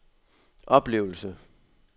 oplevelse